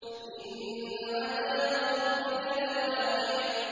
إِنَّ عَذَابَ رَبِّكَ لَوَاقِعٌ